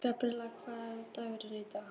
Gabríel, hvaða dagur er í dag?